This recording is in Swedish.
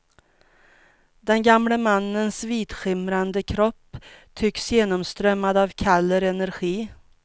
Den gamle mannens vitskimrande kropp tycks genomströmmad av kall energi.